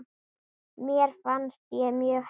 Mér fannst ég mjög heppin.